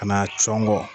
Ka na cɔngɔ